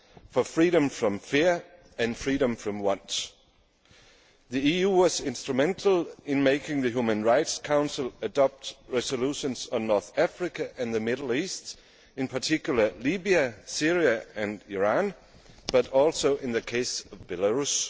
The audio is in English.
to freedom from fear and from want. The EU was instrumental in making the Human Rights Council adopt resolutions on North Africa and the Middle East, in particular Libya, Syria and Iran, but also in the case of Belarus.